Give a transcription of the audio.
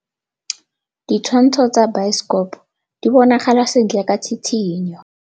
Ditshwantshô tsa biosekopo di bonagala sentle ka tshitshinyô.